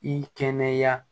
I kɛnɛya